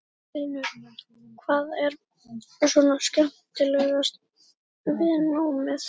Magnús Hlynur: Hvað er svona skemmtilegast við námið?